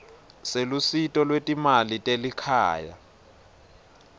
selusito lwetimali telikhaya